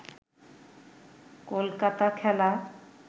কলকাতা খেলা